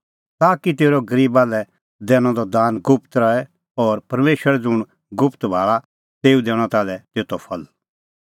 ताकि तेरअ गरीबा लै दैनअ द दान गुप्त रहे और परमेशर ज़ुंण गुप्त गल्ला भाल़ा तेऊ दैणअ ताल्है तेतो फल